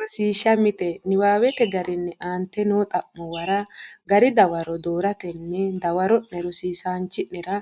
Rosiishsha Mite Niwaawete garinni aante noo xa’muwara gari dawaro dooratenni dawa- ro’ne rosiisaanchi’nera